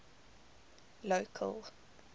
local